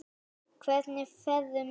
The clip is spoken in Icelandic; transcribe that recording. Hvernig færðu miða?